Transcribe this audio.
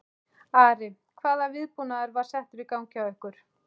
Ari, hvaða viðbúnaður var settur í gang hjá ykkur?